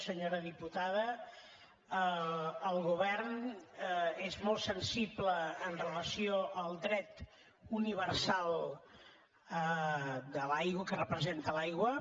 senyora diputada el govern és molt sensible amb relació al dret universal de l’aigua que representa l’aigua